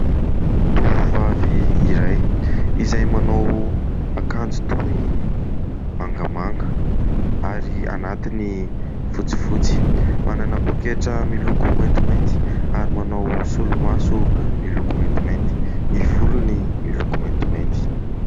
Tovovavy iray izay manao akanjo toy mangamanga, ary anatiny fotsifotsy. Manana poketra miloko maintimainty, ary manao solomaso miloko maintimainty. Ny volony miloko maintimainty.